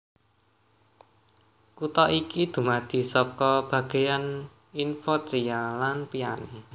Kutha iki dumadi saka bagéan Inforchia lan Piane